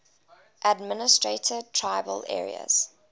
administered tribal areas